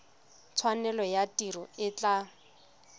tshwanelo ya tiro e tla